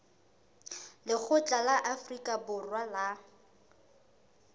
lekgotla la afrika borwa la